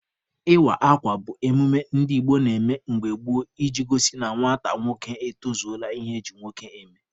Ịwa akwa bụ emume ndị Igbo na-eme mgbe gboo iji gosi na nwata nwoke etozuola ihe eji nwoke eme.